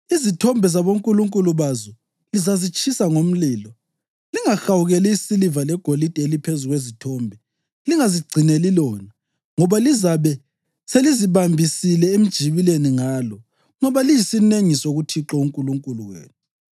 Izithombe zabonkulunkulu bazo lizazitshisa ngomlilo. Lingahawukeli isiliva legolide eliphezu kwezithombe, lingazigcineli lona, ngoba lizabe selizibambisile emjibileni ngalo, ngoba liyisinengiso kuThixo uNkulunkulu wenu.